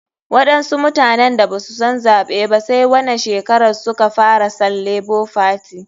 Waɗansu mutanen da basu san zaɓe ba sai wanan shekaran suka san lebo fati.